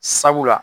Sabula